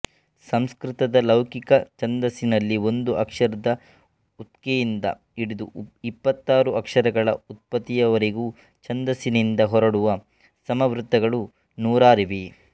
ಸಂಸ್ಕ್ರತದ ಲೌಕಿಕ ಛಂದಸ್ಸಿನಲ್ಲಿ ಒಂದು ಅಕ್ಷರದ ಉಕ್ತೆಯಿಂದ ಇಡಿದು ಇಪ್ಪಾತ್ತಾರು ಅಕ್ಷರಗಳ ಉತ್ಪತ್ತಿಯವರೆಗಿನ ಛಂದಸ್ಸಿನದಿಂದ ಹೊರಡುವ ಸಮವೃತ್ತಗಳು ನೂರಾರಿವೆ